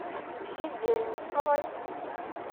седельниковой